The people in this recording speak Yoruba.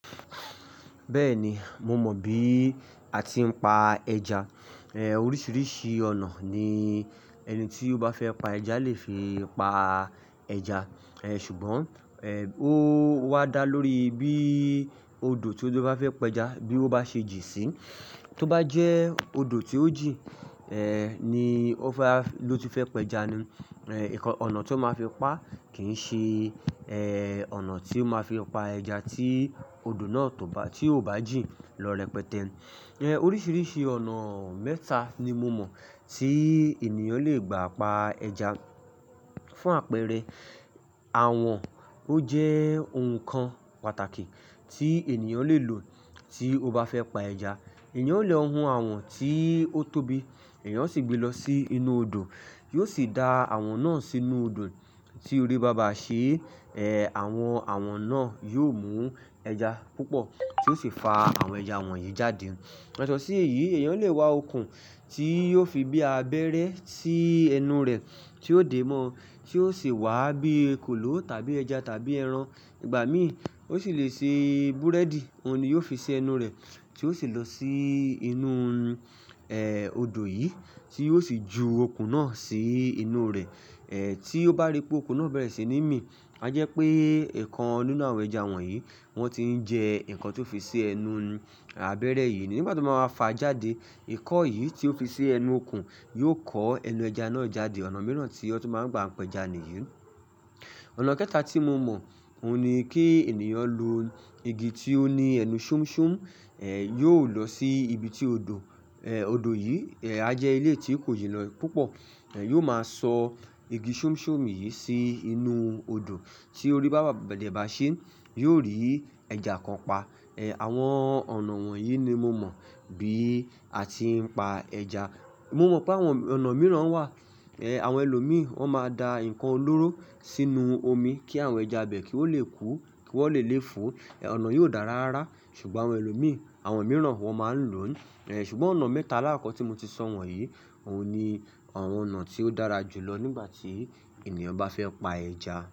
Bẹ́ẹ̀ni, mo mọ̀ bí a ti ń pa ẹja. Er, oríṣiríṣi ọ̀nà ní ẹni tí ó bá fẹ́ pa ẹja lè fi pa ẹja. Er, ṣùgbọ́n, ẹ́, ó wá dá lórí bí odò tí ó bá fẹ́ pẹja, bí ó bá ṣe jìn sí. Tí ó bá jẹ́ odò tí ó jìn, ẹ́, ní ó bá, ló ti fẹ́ pẹja ni. Er, ẹ̀kọ́ ọ̀nà tí ó máa fi pa kì ń ṣe, ẹ́, ọ̀nà tí ó máa fi pa ẹja tí odò náà tó bá, tí ò bá jìn lọ rẹpẹtẹ. Er, oríṣiríṣi ọ̀nà mẹ́ta ni mo mọ̀ tí ènìyàn le gbà pa ẹja. Fún àpẹẹrẹ, àwọn, ó jẹ́ oun kan pàtàkì tí ènìyàn lè lò tí ó bá fẹ́ pa ẹja. Ẹ̀yàn lè hun àwọn tí ó tóbi, ẹ̀yàn ó sì gbé lọ sí inú odò. Yóò sì da àwọn náà sínú odò tí orí bàbà ṣe, ẹ́, àwọn àwọn náà yóò mú ẹja púpọ̀ tí ó sì fa àwọn ẹja wọ̀nyí jáde. Yato sí èyí, ẹ̀yàn lè wa okùn tí yóò fi bí abẹ́rẹ́ sí ẹnu rẹ̀ tí ó dé mọ́, tí ó sì wà bí kòló tàbí ẹja tàbí ẹran. Ìgbà míì ó sì lè ṣe búrẹ́dì, òun ni yóò fi ṣe ẹnu rẹ̀ tí ó sì lọ sí inú, ẹ́, odò yìí tí yóò sì ju okùn náà sí inú rẹ̀. Er, tí ó bá rí pé okùn náà bẹ̀rẹ̀ sí ní mì, a jẹ́ pé ǹkan inú àwọn ẹja wọ̀nyí, wọ́n ti ń jẹ ǹkan tí ó fi ṣe ẹnu abẹ́rẹ́ yìí. Nígbà tí wọ́n máa fa jáde, ikọ́ yìí tí ó fi ṣe ẹnu okùn yóò kọ ẹnu ẹja náà jáde. Ọ̀nà mìíràn tí ẹni tí ó bá ń gbà pẹja nìyí. Ọ̀nà kẹ́ta tí mo mọ̀, òun ni kí ènìyàn lo igi tí ó ní ẹnu ṣúmṣúm, ẹ́, yóò lọ sí ibi tí odò, ẹ́, odò yìí, ẹ́, a jẹ́ ilé tí ò kì í lọ púpọ̀. Er, yóò máa sọ igi ṣúmṣúm yìí sí inú odò tí orí bàbà bẹ̀rẹ̀ bá ṣe, yóò rí ẹja kan pa. Er, àwọn ọ̀nà wọ̀nyí ni mo mọ̀ bí a ti ń pa ẹja. Mo mọ̀ pé àwọn ọ̀nà mìíràn wà. Er, àwọn ẹlòmíì, wọ́n máa da ǹkan olóró sínú omi kí àwọn ẹja bẹ̀ kí ó lè kú kí wọ́n lè lé fú. Ọ̀nà yìí ò dáa rárá. Ṣùgbọ́n àwọn ẹlòmíì, àwọn mìíràn wọ́n máa ń lòóń. Er, ṣùgbọ́n ọ̀nà mẹ́ta alákọ̀ọ́ tí mo ti sọ̀ wọ̀nyí, òun ni àwọn ọ̀nà tí ó dára jù lọ nígbà tí ènìyàn bá fẹ́ pa ẹja.